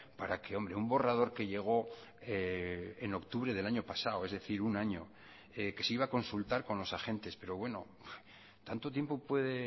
para que hombre un borrador que llegó en octubre del año pasado es decir un año que se iba a consultar con los agentes pero bueno tanto tiempo puede